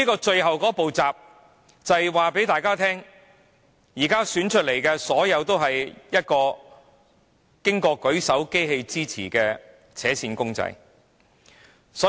最後一道閘讓大家知道，當選的任何人皆只是得到"舉手機器"支持的扯線公仔而已。